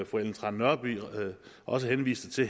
fru ellen trane nørby også henviste til